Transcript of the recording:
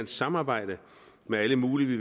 samarbejde med alle mulige